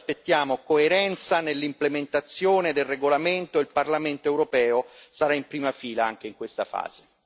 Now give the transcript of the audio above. Ora ci aspettiamo coerenza nell'implementazione del regolamento, e il Parlamento europeo sarà in prima fila anche in questa fase.